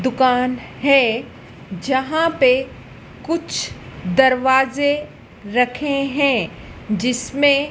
दुकान है जहां पे कुछ दरवाजे रखे हैं जिसमें--